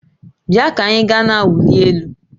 Bịa ka anyị gaa na-awụli elu